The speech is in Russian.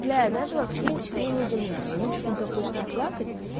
бля даже вообще ничему не удивляюсь обычно так хочется плакать